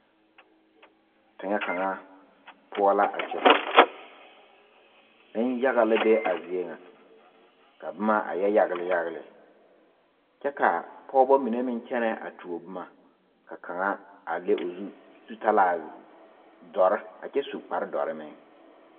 Teŋɛ kaŋa poɔ la a kyɛ nenyaga la be a zie ŋa ka boma a yɛ yagle yagle kyɛ ka pɔgeba mine meŋ kyɛnɛ a tuo boma ka kaŋa a le o zu zutalaa dɔre a kyɛ su kpareedɔre meŋ.